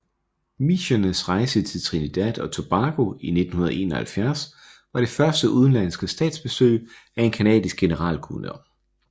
Micheners rejse til Trinidad og Tobago i 1971 var det første udenlandske statsbesøg af en canadisk generalguvernør